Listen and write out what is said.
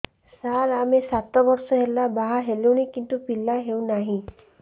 ସାର ଆମେ ସାତ ବର୍ଷ ହେଲା ବାହା ହେଲୁଣି କିନ୍ତୁ ପିଲା ହେଉନାହିଁ